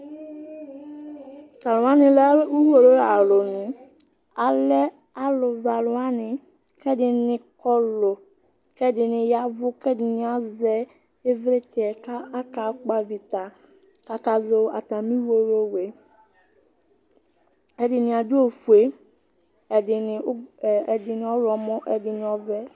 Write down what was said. Talʋwani lɛ ʋwolowʋ alʋni, alɛ alʋzɔalʋwani kʋ ɛdini kɔlʋ, kʋ ɛdini ya ɛvʋ kʋ ɛdini azɛ ivlitsɛ kʋ akakpɔ avita, kʋ akazɔ atami ʋwolowʋ yɛ Ɛdini adʋ ofue, ɛdini ɔwlɔmɔ, ɛdini ɔvɛ